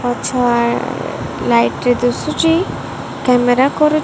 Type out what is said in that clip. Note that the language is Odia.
ଆଚ୍ଛା ଲାଇଟ୍ ରେ ଦୁସୁଚି କ୍ୟାମେରା କରୁ --